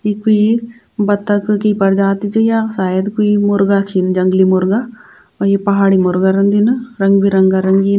यि कुई बत्तख की प्रजाति च या शायद कुई मुर्गा छिन जंगली मुर्गा और यि पहाड़ी मुर्गा रंदिन रंग बिरंगा रंगीन।